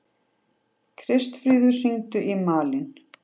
Kristfríður, hringdu í Malin.